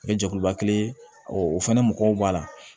O ye jɛkuluba kelen ye o fɛnɛ mɔgɔw b'a la